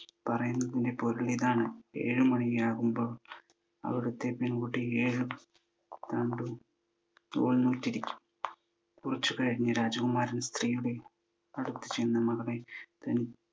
പറയുന്നതിൻ്റെ പൊരുളിതാണ്. ഏഴു മണിയാകുമ്പോൾ അവിടത്തെ പെൺകുട്ടി ഏഴ് ആണ്ട് നൂൽ നൂറ്റിരിക്കും. കുറച്ചു കഴിഞ്ഞു രാജകുമാരൻ സ്ത്രീയുടെ അടുത്ത് ചെന്ന് മകളെ തനി